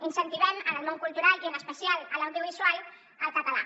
incentivem en el món cultural i en especial en l’audiovisual el català